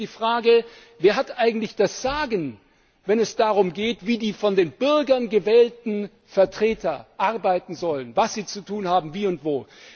Mir geht es um die Frage Wer hat eigentlich das Sagen, wenn es darum geht, wie die von den Bürgern gewählten Vertreter arbeiten sollen, was sie zu tun haben, wie und